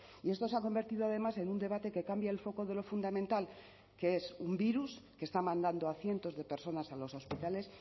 y esto se ha convertido además en un debate que cambia el foco de lo fundamental que es un virus que está mandando a cientos de personas a los hospitales